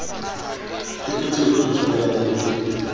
phephetso eo re tjamelaneng le